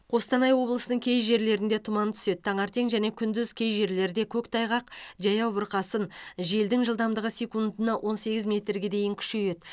қостанай облысының кей жерлерінде тұман түседі таңертең және күндіз кей жерлерде көктайғақ жаяу бұрқасын желдің жылдамдығы секундына он сегіз метрге дейін күшейеді